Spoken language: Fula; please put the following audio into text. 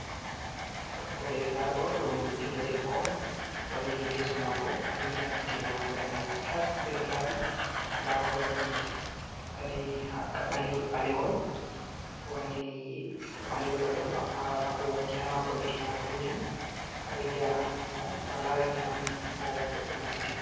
Ndaa ɗo ɗum ɓiɗɗo debbo on, wanngini yeeso maako.A ɗo yi'a gite maako daneeje tas, ɗe ɗo laɓi .Ndaa o ɗo waɗi kaɓɓaliwol ɓalewol ,o wanngini kaɓɓaliwol ɓalewol ammaa wala ko wanngi haa maako ,tona kanjum a ɗo yi'a mo, to a larini , a anndi o boɗɗo masitin.